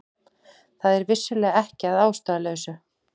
Það er vissulega ekki að ástæðulausu